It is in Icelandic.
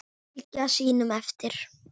Fylgja sínum eftir.